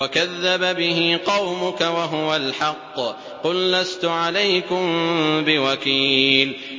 وَكَذَّبَ بِهِ قَوْمُكَ وَهُوَ الْحَقُّ ۚ قُل لَّسْتُ عَلَيْكُم بِوَكِيلٍ